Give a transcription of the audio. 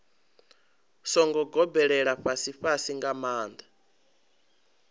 songo gobelela fhasifhasi nga maanḓa